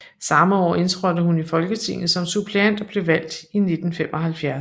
Samme år indtrådte hun i Folketinget som suppleant og blev valgt i 1975